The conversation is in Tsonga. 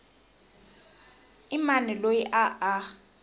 i mani loyi a a